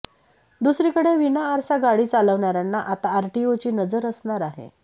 दुसरीकडे विनाआरसा गाडी चालवणाऱ्यांना आता आरटीओची नजर असणार आहे